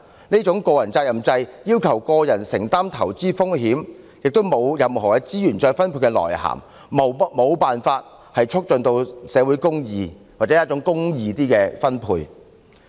這種個人責任制要求個人承擔投資風險，亦沒有任何資源再分配的作用，無法促進社會公義或較公義的分配。